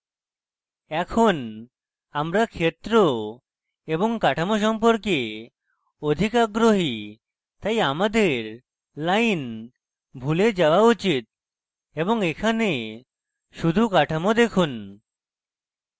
এখন আমরা ক্ষেত্র এবং কাঠামো সম্পর্কে অধিক আগ্রহী তাই আমাদের lines ভুলে যাওয়া উচিত এবং এখানে শুধু কাঠামো দেখুন